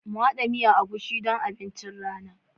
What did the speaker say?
Mu hada miyan egusi don abincin rana.